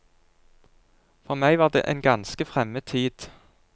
For meg var det en ganske fremmed tid.